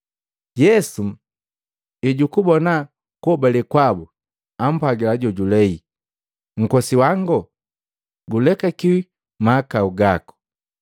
Yesu ejukubona kuhobale kwabu, ampwagila mundu jojulei, “Nkosiwango, gulekakiwi mahakau gako.”